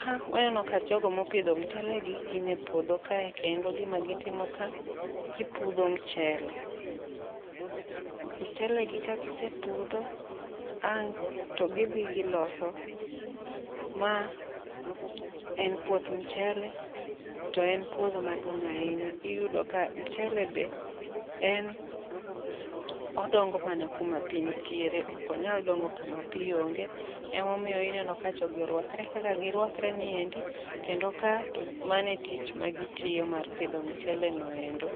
ka waneno ka jogo mopidho mchele gi gin e puodho ka. Kendo gima gitimo ka gipudho mchele, mchele gi kagise pudho ang' to gidhi giloso. Ma en puoth mchele to en puodho maduong' ahinya. Iyudo ka mchele be en odongo mana kuma pi nitiere, okonyal dongo kama pi onge. Emomiyo ineno ka jogi orwakre kaka girwakre niendi, kendo ka to mano e tich ma gitiyo mar pidho mchele noendo.